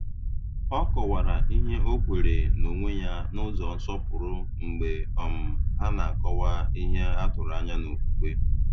Ọ kọ̀wara ihe ọ kweere n’onwe ya n’ụzọ nsọpụrụ mgbe um ha na-akọwa ihe e tụrụ anya n’okwukwe.